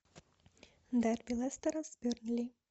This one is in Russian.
дерби лестера с бернли